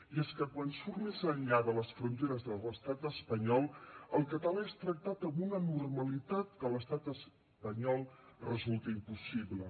i és que quan surt més enllà de les fronteres de l’estat espanyol el català és tractat amb una normalitat que a l’estat espanyol resulta impossible